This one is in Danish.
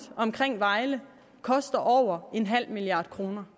omkring vejle koster over en halv milliard kroner